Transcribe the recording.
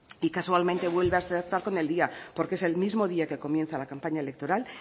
y casualmente vuelve a acertar con el día porque es el mismo día que comienza la campaña electoral